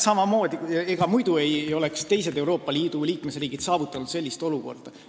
Ega muidu ei oleks teised Euroopa Liidu liikmesriigid sellist olukorda saavutanud.